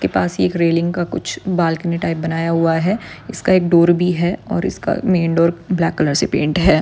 इसके पास एक रेलिंग का कुछ बालकनी टाइप बनाया हुआ है। इसका एक डोर भी है। और इसका मेन डोर ब्लैक कलर से पेंट है।